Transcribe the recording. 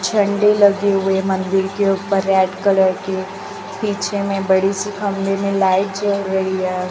झंडी लगी हुई है मंदिर के ऊपर रेड कलर की पीछे में बड़ी सी खंभे में लाइट जल रही है।